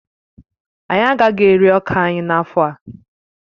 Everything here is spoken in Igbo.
Anyị agaghị ere ọka anyị n'afọ a